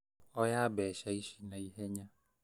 Oya mbeca ici na ihenya